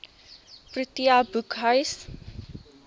protea boekhuis